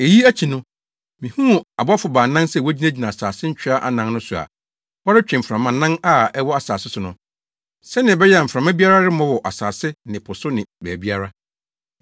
Eyi akyi no, mihuu abɔfo baanan sɛ wogyinagyina asase ntwea anan no so a wɔretwe mframanan a ɛwɔ asase so no, sɛnea ɛbɛyɛ a mframa biara remmɔ wɔ asase ne po so ne baabiara.